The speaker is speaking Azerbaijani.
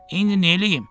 İndi neyləyim?